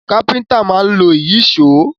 Káfíntà máa ń lo Ìyíṣòó